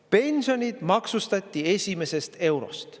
Pensionid maksustati esimesest eurost.